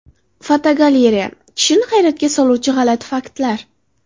Fotogalereya: Kishini hayratga soluvchi g‘alati faktlar.